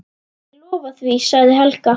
Ég lofa því, sagði Helga.